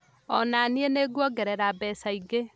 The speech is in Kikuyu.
O na niĩ nĩngũongerera mbeca ingĩ